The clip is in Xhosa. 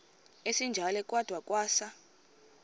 esinjalo kwada kwasa